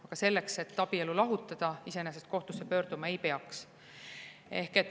Aga selleks, et abielu lahutada, iseenesest kohtusse pöörduma ei peaks.